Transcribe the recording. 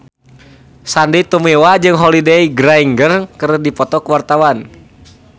Sandy Tumiwa jeung Holliday Grainger keur dipoto ku wartawan